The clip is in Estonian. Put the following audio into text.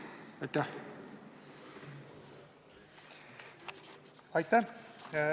Aitäh!